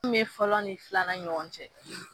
N be fɔlɔ ni filanan ɲɔgɔn cɛ